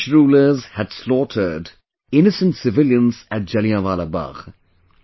The British rulers had slaughtered innocent civilians at Jallianwala Bagh